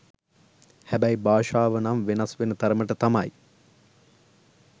හැබැයි භාෂාව නම් වෙනස් වෙන තරමට තමයි